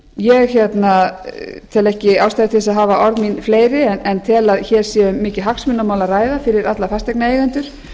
ég tel ekki ástæðu til að hafa orð mín fleiri en tel að hér sé um mikið hagsmunamál að ræða fyrir alla fasteignaeigendur